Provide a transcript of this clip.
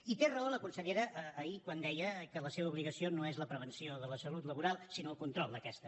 i tenia raó la consellera ahir quan deia que la seva obligació no és la prevenció de la salut laboral sinó el control d’aquesta